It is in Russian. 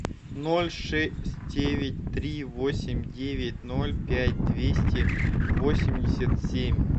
ноль шесть девять три восемь девять ноль пять двести восемьдесят семь